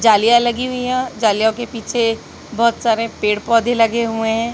जालियां लगी हुई है जालियों के पीछे बहोत सारे पेड़ पौधे लगे हुए हैं।